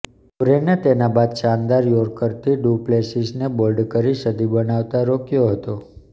કુરેને તેના બાદ શાનદાર યોર્કરથી ડુ પ્લેસિસને બોલ્ડ કરી સદી બનાવતા રોક્યો હતો